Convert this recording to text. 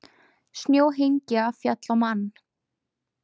Snjóhengja féll á mann